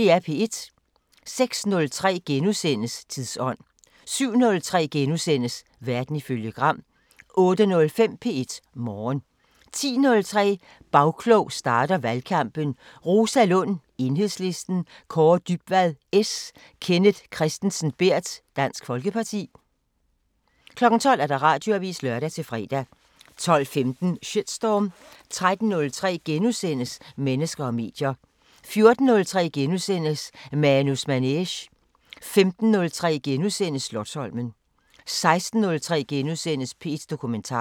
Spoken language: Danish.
06:03: Tidsånd * 07:03: Verden ifølge Gram * 08:05: P1 Morgen 10:03: Bagklog starter valgkampen: Rosa Lund (EL), Kaare Dybvad (S), Kenneth Kristensen Berth (DF) 12:00: Radioavisen (lør-fre) 12:15: Shitstorm 13:03: Mennesker og medier * 14:03: Manus Manege * 15:03: Slotsholmen * 16:03: P1 Dokumentar *